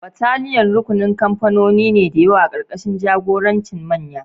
Battalion: Rukunin kamfanoni da yawa karkashin jagorancin manyan.